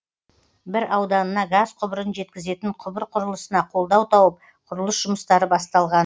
бір ауданына газ құбырын жеткізетін құбыр құрылысына қолдау тауып құрылыс жұмыстары басталған